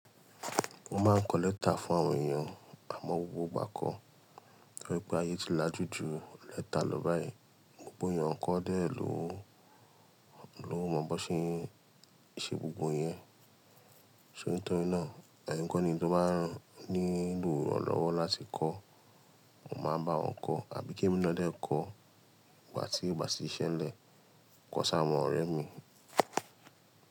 Mo máa ń kọ lẹ́tà fún àwọn èèyàn àmọ́ gbogbo ìgbà kọ́, torí pé ayé ti lajú ju lẹ́tà lọ báyìí, gbogbo èèyàn kọ́ dẹ́ lóòó, lóòó mọ̀ bó ṣe ń ṣe gbogbo ìyẹn. Torí náà ẹ̀yin kọ́ ni tó bá nílò ìrànlọ́wọ́ láti kọ́, mo máa bá wọn kọ́ àbí Kẹ́mi náà dẹ́ kọ́, ìgbà tí ìgbà tí ṣẹ́ lẹ̀, kọ sá àwọn ọ̀rẹ́ mi.